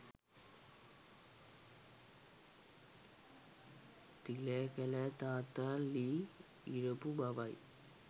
තිලකලෑ තාත්තා ලී ඉරපු බවයි